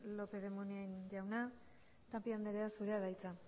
lópez de munain jauna tapia andrea zurea da hitza